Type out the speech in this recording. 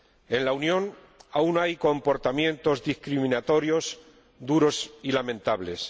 En la Unión aún hay comportamientos discriminatorios duros y lamentables.